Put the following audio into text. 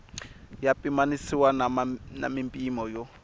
ya pimanisiwa na mimpimo yo